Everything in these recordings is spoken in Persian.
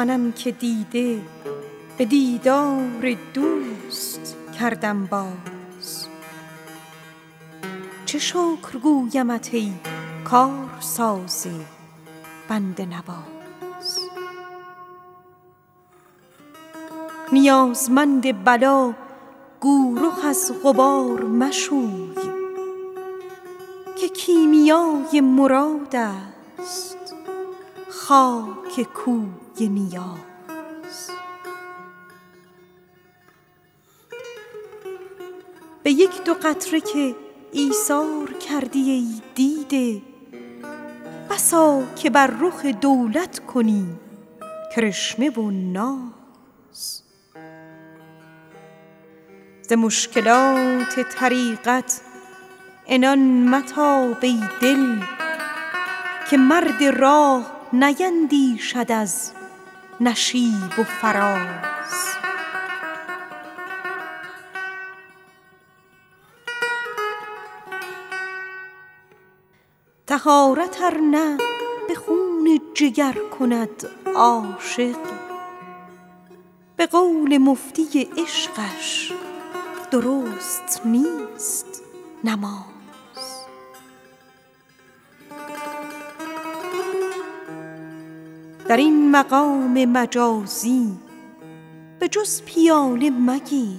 منم که دیده به دیدار دوست کردم باز چه شکر گویمت ای کارساز بنده نواز نیازمند بلا گو رخ از غبار مشوی که کیمیای مراد است خاک کوی نیاز ز مشکلات طریقت عنان متاب ای دل که مرد راه نیندیشد از نشیب و فراز طهارت ار نه به خون جگر کند عاشق به قول مفتی عشقش درست نیست نماز در این مقام مجازی به جز پیاله مگیر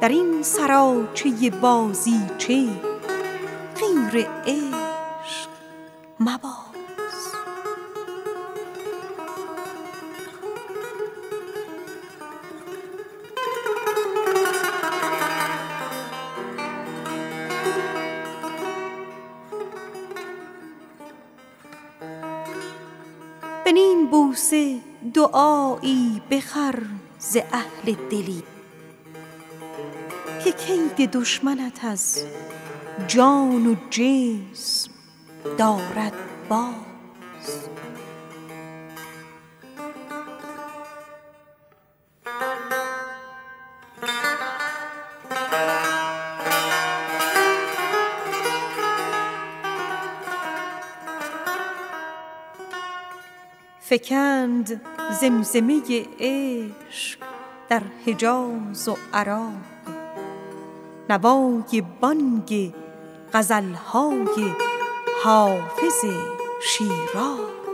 در این سراچه بازیچه غیر عشق مباز به نیم بوسه دعایی بخر ز اهل دلی که کید دشمنت از جان و جسم دارد باز فکند زمزمه عشق در حجاز و عراق نوای بانگ غزل های حافظ از شیراز